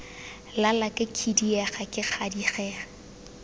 lala ke khidiega ke gadikega